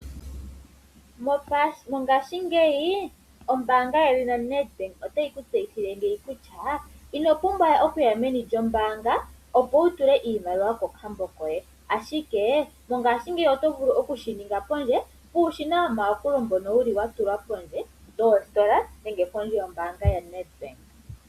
Mongaashingeyi ombaanga ndjono yoNedbank otayi ku tseyithile kutya ino pumbwa we okuya meni lyombaanga opo wutule iiimaliwa kokambo koye, ashike mongashingeyi oto vulu okushininga pondje , uushina womayakulo mbono wuli watulwa pondje yoosikola nenge pondje yombaanga yaNedbank.